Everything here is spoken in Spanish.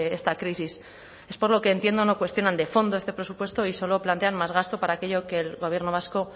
esta crisis es por lo que entiendo no cuestionan de fondo este presupuesto y solo plantean más gasto para aquello que el gobierno vasco